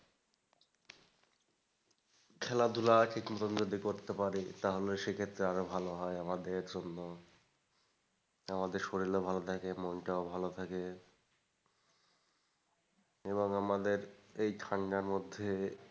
খেলাধুলা কিছুক্ষণ যদি করতে পারি তাহলেও সেক্ষেত্রে আরও ভালো হয় আমাদের জন্য। আমাদের শরীর ও ভালো থাকে মনটাও ভালো থাকে এবং আমাদের এই ঠান্ডার মধ্যে,